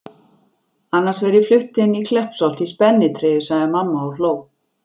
Annars verð ég flutt inn í Kleppsholt í spennitreyju sagði mamma og hló.